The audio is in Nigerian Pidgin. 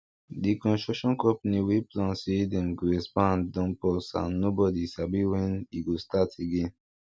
di construction company wey plan say dem go expand don pause am and nobody sabi when e go start again